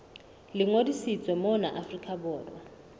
le ngodisitsweng mona afrika borwa